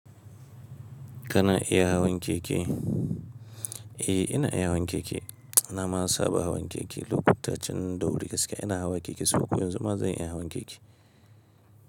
Kana iya hawan keke? Eh, ina iya hawan keke. Na ma saba hawan keke. Lokutan can da wuri gaskiya ina hawa keke saboda yanzu ma zan iya hawan keke.